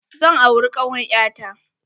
Zan auri kawar ƴa ta.